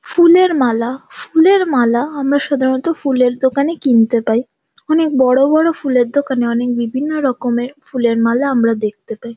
ফুলের মালা ফুলের মালা আমরা সাধারনতঃ ফুলের দোকানে কিনতে পাই। অনেক বড় বড় ফুলের দোকানে অনেক বিভিন্ন রকমের ফুলের মালা আমরা দেখতে পাই।